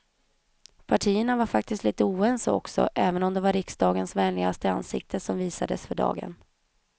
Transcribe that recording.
Partierna var faktiskt lite oense också, även om det var riksdagens vänliga ansikte som visades för dagen.